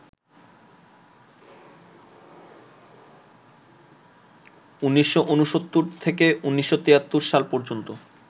১৯৬৯ থেকে ১৯৭৩ সাল পর্যন্ত